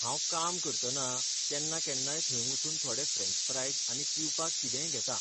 हांव काम करतना केन्ना केन्नाय थंय वचून थोडें फ्रॅन्च फ्रायज आनी पिवपाक कितेंय घेता.